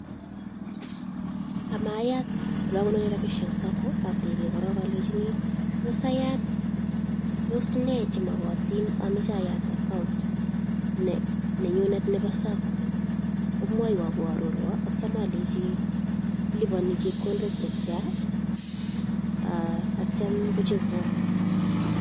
Amayat elokonoren rabishek en sacco oteben korong olenjini toos ayaat toos nee chemokotin amoche ayat pcs] account nenyunet nebo sacco, komwoiwon ko ororwon akityo olenchi kiliponi chepkondok chetian akitio kochobwon.